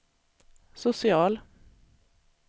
social